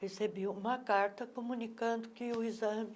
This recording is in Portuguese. Recebi uma carta comunicando que o exame